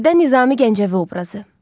Musiqidə Nizami Gəncəvi obrazı.